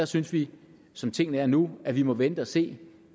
synes vi som tingene er nu at vi må vente og se